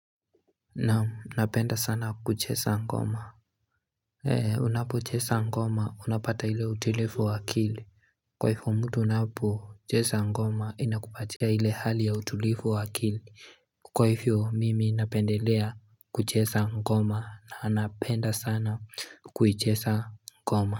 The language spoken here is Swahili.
Na unapenda sana kuchesa ngoma He unapo chesa ngoma unapata ile utilifu wakili Kwa hifo mtu unapo chesa ngoma ina kupatia ile hali ya utilifu wa akili kwa hifo mimi napendelea kuchesa ngoma na napenda sana kuichesa ngoma.